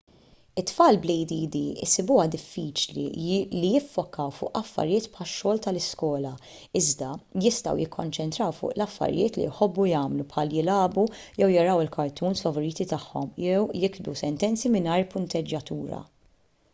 it-tfal bl-add isibuha diffiċli li jiffokaw fuq affarijiet bħax-xogħol tal-iskola iżda jistgħu jikkonċentraw fuq affarijiet li jħobbu jagħmlu bħal jilagħbu jew jaraw il-cartoons favoriti tagħhom jew jiktbu sentenzi mingħajr punteġġjatura